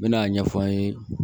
N mɛna a ɲɛfɔ an ye